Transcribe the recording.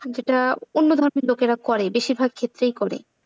সেটা অন্য ধর্মের লোকেরা করে, বেশিরভাগ ক্ষেত্রেই করে।